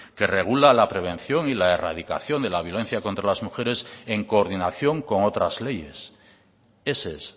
que regula la prevención y la erradicación de la violencia contra las mujeres en coordinación con otras leyes ese es